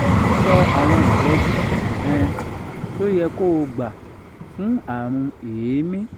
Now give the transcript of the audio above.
so awọn ìtọ́jú um tó yẹ kó o gbà fún àrùn èémí